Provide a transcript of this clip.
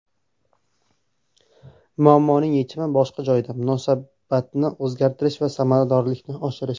Muammoning yechimi boshqa joyda: munosabatni o‘zgartirish va samaradorlikni oshirish.